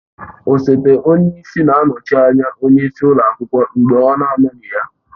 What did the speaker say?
Osote onye isi na-anọchi anya onye isi ụlọ akwụkwọ mgbe ọ na anọghị ya.